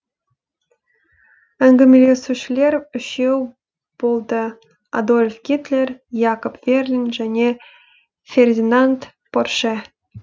әңгімелесушілер үшеу болды адольф гитлер якоб верлин және фердинанд порше